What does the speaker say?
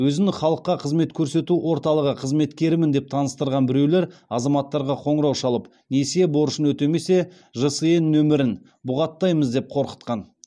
өзін халыққа қызмет көрсету орталығы қызметкерімін деп таныстырған біреулер азаматтарға қоңырау шалып несие борышын өтемесе жсн нөмірін бұғаттаймыз деп қорқытқан